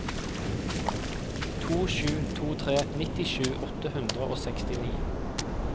to sju to tre nittisju åtte hundre og sekstini